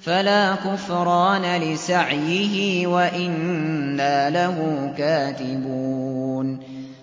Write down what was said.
فَلَا كُفْرَانَ لِسَعْيِهِ وَإِنَّا لَهُ كَاتِبُونَ